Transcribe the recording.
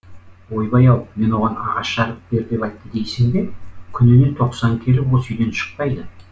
ойбай ау мен оған ағаш жарып бер деп айтты дейсің бе күніне тоқсан келіп осы үйден шықпайды